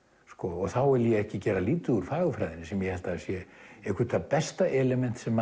og þá er ég ekki að gera lítið úr fagurfræðinni sem ég held að sé eitthvert það besta element sem